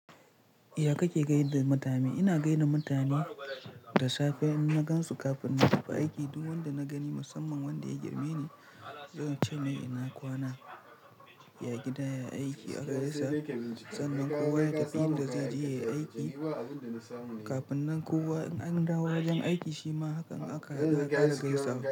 Iya kake gaida mutane? Ina gani da mutane da safe in na gan su kafin na tafi aiki. Duk wanda na gani musamman wanda ya girme ni, zan ce mai ina kwana, ya gida, ya aiki haka da safe. Sannan kowa ya tafi inda zai je yayi aiki. Kafin nan kowa in an dawo daga aiki shima hakan aka yi akara gaisawa.